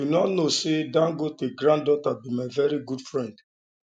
you no know say dangote granddaughter be my very good friend